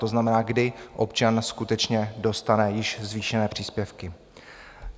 To znamená, kdy občan skutečně dostane již zvýšené příspěvky?